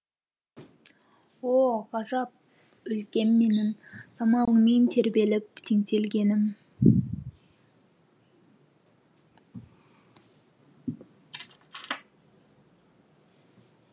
о ғажап өлкем менің самалыңмен тербеліп теңселгенім